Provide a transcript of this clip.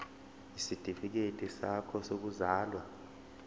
isitifikedi sakho sokuzalwa